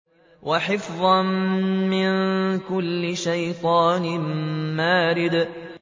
وَحِفْظًا مِّن كُلِّ شَيْطَانٍ مَّارِدٍ